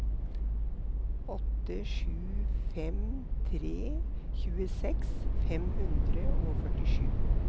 åtte sju fem tre tjueseks fem hundre og førtisju